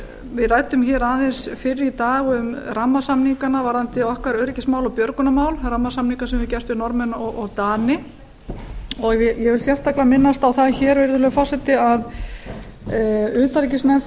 við ræddum hér aðeins fyrr í dag um rammasamningana varðandi okkar öryggismál og björgunarmál rammasamninga sem við höfum gert við norðmenn og dani ég vil sérstaklega minnast á það hér virðulegi forseti að utanríkisnefnd